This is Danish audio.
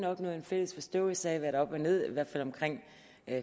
opnået en fælles forståelse af hvad der er op og ned i hvert fald omkring